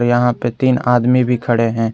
यहां पे तीन आदमी भी खड़े हैं।